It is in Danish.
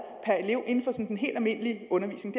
inden for den helt almindelige undervisning